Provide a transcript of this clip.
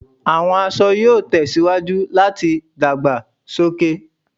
Awọn aṣọ yoo tẹsiwaju lati dagbasoke